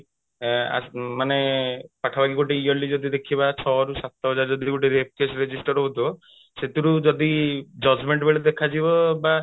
ମାନେ ପାଖାପାଖି ଗୋଟେ yearly ଦେଖିବା ଛଅ ରୁ ସାତ ହଜାର ଯଦି rape case register ହଉଥିବା ସେଥିରୁ ଯଦି judgement ବେଳେ ଦେଖାଯିବ ବା